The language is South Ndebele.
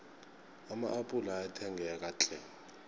ama appula ayathengeka tlhe